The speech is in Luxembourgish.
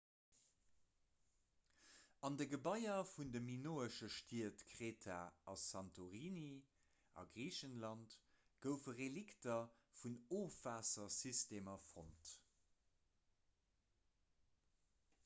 an de gebaier vun de minoesche stied kreta a santorini a griicheland goufe relikter vun ofwaassersystemer fonnt